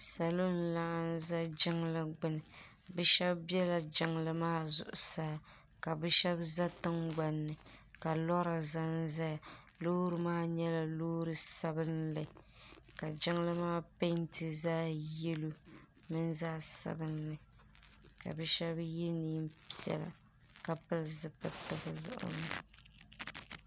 salo n laɣim ʒɛ jinli gbani be shɛbi bɛla jinli maa zuɣ saa ka be shɛbi za tiŋgbani ka lora zan zaya lori maa nyɛla lori sabinli ka jinli maa pɛntɛ zaɣ' yɛlo mimi zaɣ sabinli ka be shɛbi yɛ nɛnpiɛlla ka pɛli zibilitɛ